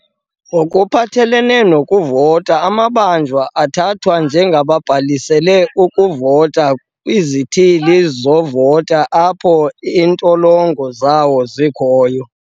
"Ngokuphathelene nokuvota, amabanjwa athathwa njengabhalisele ukuvota kwizithili zovoto apho iintolongo zawo zikhoyo."